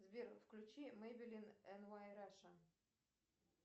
сбер включи мейбелин эн вай раша